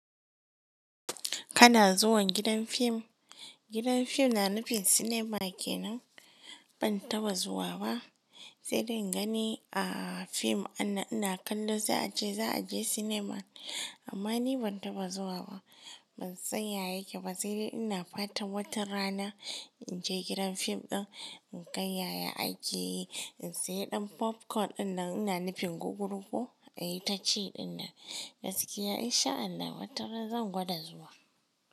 Kana zuwa gidan fim? Gidan fim na nufin cinema kenan. Ban taɓa zuwa ba sai dai ingani a fim ana kallo sai a ce za a je cinema. Amma ni ban taɓa zuwa ba. Ban san yaya yake ba sai dai ina fatan wata rana in je gidan fim ɗin in kai yaya aiki, in sayi ɗan popcorn ɗin da ina nufin gugurko a yi ta ci ɗin nan. Gaskiya in sha Allah wata rana zan gwada zuwa.